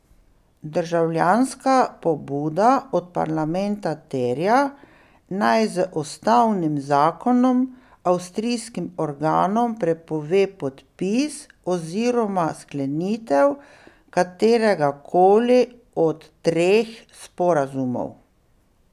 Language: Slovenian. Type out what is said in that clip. Državljanska pobuda od parlamenta terja, naj z ustavnim zakonom avstrijskim organom prepove podpis oziroma sklenitev katerega koli od treh sporazumov.